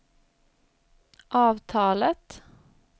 avtalet